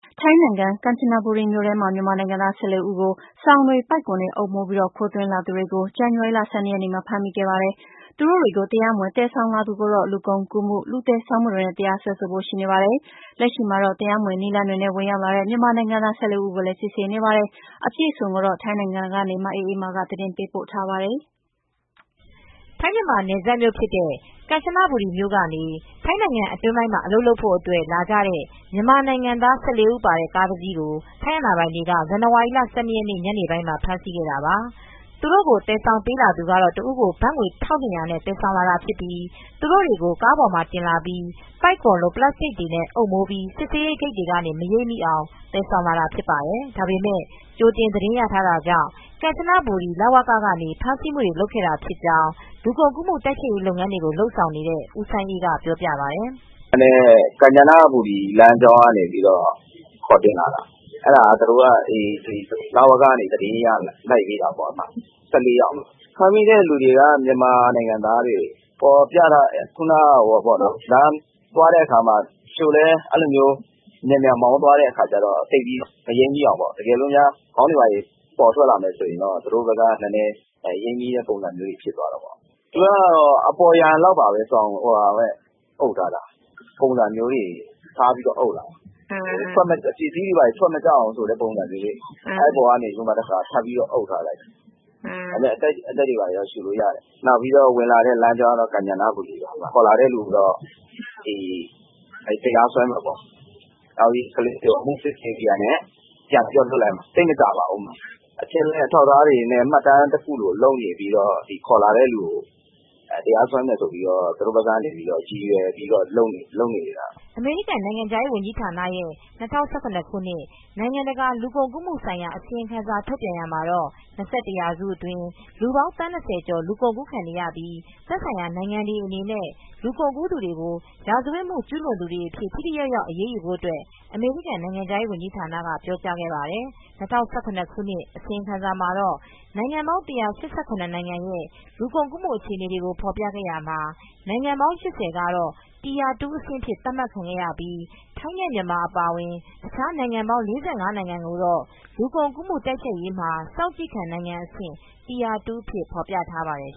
ထိုင်းနိုင်ငံ၊ ကမ်ချနဘူရီမြို့ထဲမှာ မြန်မာနိုင်ငံသား၁၄ ဦးကို စောင်တွေပိုက်ကွန် တွေအုပ်မိုးပြီး ခိုးသွင်းလာသူတွေကို ဇန်နဝါရီလ ၁၂ရက်နေ့မှာဖမ်းဆီးမိခဲ့ပြီး တရားမဝင်သယ်ဆောင်လာသူကိုတော့ လူကုန်ကူးမူတွေလူသယ်ဆောင်မူတွေနဲ့ တရားစွဲဆိုဖို့ရှိနေပါတယ်။ လက်ရှိမှာတော့ တရားမဝင်နည်းလမ်းတွေနဲ့ ဝင်ရောက်လာတဲ့ မြန်မာနိုင်ငံသား ၁၄ဦးကိုလည်းစစ်ဆေးမူတွေလုပ်နေပါတယ်။ မအေးအေးမာ ကသတင်းပေးပို့ထားပါတယ်။ ထိုင်းမြန်မာနယ်စပ်မြို့ ဖြစ်တဲ့ ကမ်ချနဘူရီမြို့ကနေ ထိုင်းနိုင်ငံအတွင်းပိုင်းမှာအလုပ်လုပ်ဖို့ အတွက် လာကြတဲ ့မြန်မာနိုင်ငံသား၁၄ဦးပါတဲ့ ကားတစီးကို ထိုင်းအာဏာပိုင်တွေက ဇန်နဝါရီလ ၁၂ရက်နေ့ ညပိုင်းမှာဖမ်းဆီးခဲ့တာပါ။ သူတို့ကို သယ်ဆောင်ပေးလာသူကတော့ တဦးကို ဘတ်ငွေ ၁၂၀၀နဲ့ သယ်ဆောင်လာတာဖြစ်ပြီး ၊ သူတို့တွေကို ကားပေါ်မှာတင်လာပြီး ပိုက်ကွန်လို ပလပ်စတစ်စတွေနဲ့ အုပ်မိုးပြီး စစ်ဆေးရေးဂိတ်တွေကနေ မရိပ်မိအောင်သယ်ဆောင်လာတာဖြစ်ပါတယ်။ ဒါပေမဲ့ကြိုတင် သတင်းရတာကြောင့်ကမ်ချနဘူရီ လဝကကနေ ဖမ်းဆီးမူတွေလုပ်ခဲ့တာဖြစ်ကြောင်း လူကုန်ကူးမူတိုက်ဖျက်ရေး လုပ်ငန်းတွေကိုလုပ်ဆောင်နေတဲ့ ဦးစိုင်းအေးက ပြောပြပါတယ်။ "ကမ်ချနဘူရီလမ်းကြောင်းကနေ ခေါ်တင်လာတာ သူတိုက လဝက ကနေ သတင်းရလို့လိုက်တာ ၁၄ယောက်ရှိတယ်။ ဖမ်းမိတဲ့သူတွေက မြန်မာနိုင်ငံသားတွေတချို့ကလည်း မြန်မြန်မောင်းတဲ့အခါမှာ မရိပ်မိအောင် တကယ်လို့ ခေါင်းတွေပေါ်ထွက်လာတော့ရိပ်မိတဲ့ပုံစံဖြစ်လာတာ အပေါ်ယံကနေ စောင်တွေအုပ်လာတာ ၊ အထူးသဖြင့်ပစ္စည်းတွေဘာတွေ ထွက်မကျ အောင်အုပ်ထားတဲ့ပုံစံမျိုးပေါ့။ အဲဒီ ပုံစံကနေ ထပ်ပြီး အုပ်ထားတာ အသက်တွေဘာတွေတော့ရူလို့ရတယ် ။ ဝင်လာတဲ့လမ်းကြောင်းကတော့ကန်ချနဘူရီပေါ့ ခေါ်လာတဲ့သူကိုတော့ တရားစွဲမယ်ပေါ့။ ကလေးတွေကိုတော့အမူစစ်ဆေးပြီးရင်တော့ပြန်လွတ်ပေးမယ်ပေါ့ ခေါ်လာတဲ့သူကိုတရားစွဲမယ်ဆိုပြီးလုပ်နေတာပဲ" အမေရိကန်နိုင်ငံခြားရေး ဌာနရဲ့ ၂၀၁၇ ခုနှစ် နိုင်ငံတကာ လူကုန်ကူးမှု ဆိုင်ရာ အစီရင်ခံစာ ထုတ်ပြန်ရာမှာ ၂၁ ရာစုအတွင်း လူပေါင်း သန်း ကျော် လူကုန်ကူးခံနေရပြီး သက်ဆိုင်ရာ နိုင်ငံတွေအနေနဲ့ လူကုန်ကူးသူတွေကို ရာဇဝတ်မှု ကျူးလွန်သူတွေ အဖြစ် ထိထိရောက်ရောက် အရေးယူဖို့ အမေရိကန် နိုင်ငံခြားရေးဝန်ဌာနကပြောကြားခဲ့ပါတယ် ၂၀၁၇ ခုနှစ် အစီရင်ခံစာမှာ တော့ နိုင်ငံပေါင်း ၁၈၇ နိုင်ငံရဲ့လူကုန်ကူးမှု အခြေအနေကို ဖော်ပြခဲ့ရာမှာ နောက် နိုင်ငံပေါင်း ကတော့ Tier 2 အဆင့် အဖြစ် သတ်မှတ်ပြီး ထိုင်းနဲ့ မြန်မာ အပါအဝင် အခြား နိုင်ငံပေါင်း နိုင်ငံကိုတော့ လူကုန်ကူးမှု တိုက်ဖျက်ရေးမှာ စောင့်ကြည့်ခံ နိုင်ငံအဆင့် Tier2 အဖြစ် ဖေါ်ပြထားပါတယ်